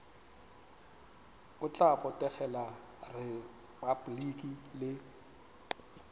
o tla botegela repabliki le